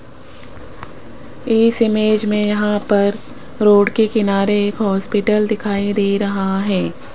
इस इमेज में यहां पर रोड के किनारे एक हॉस्पिटल दिखाई दे रहा है।